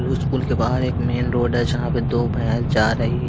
उसकुल के बाहर एक मेन रोड है जहां पे दो भैंस जा रही--